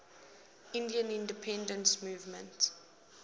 indian independence movement